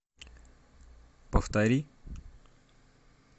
повтори